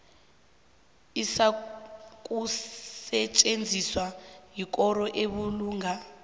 izakusetjenziswa yikoro ebulunga